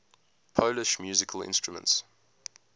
polish musical instruments